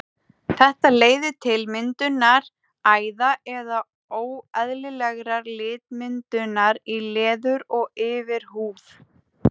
Þetta leiðir til myndunar æða eða óeðlilegrar litmyndunar í leður- og yfirhúð.